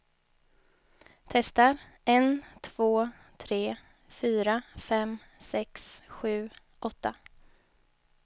Testar en två tre fyra fem sex sju åtta.